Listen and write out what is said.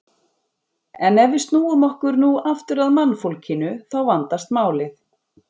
En ef við snúum okkur nú aftur að mannfólkinu þá vandast málið.